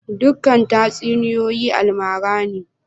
Dukan tatsuniyoyi almara ne?